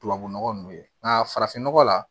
Tubabu nɔgɔ nunnu ye nka farafin nɔgɔ la